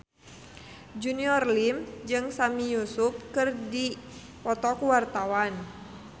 Junior Liem jeung Sami Yusuf keur dipoto ku wartawan